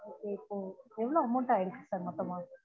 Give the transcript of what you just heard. ஒ ஒக் ஒ எவ்லொ amount ஆகிருக்கு sir மொத்தமா